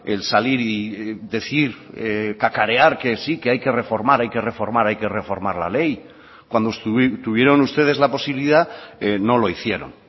el salir y decir cacarear que sí que hay que reformar hay que reformar hay que reformar la ley cuando tuvieron ustedes la posibilidad no lo hicieron